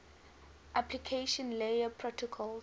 application layer protocols